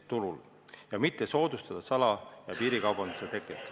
Seda ka selleks, et mitte soodustada sala- ja piirikaubanduse teket.